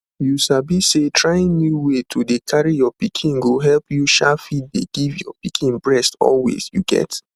you sabi say trying new way to dey carry your pikin go help you um fit dey give your pikin breast always you get